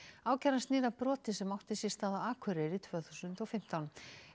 ákæran snýr að broti sem átti sér stað á Akureyri árið tvö þúsund og fimmtán